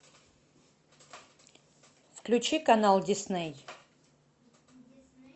включи канал дисней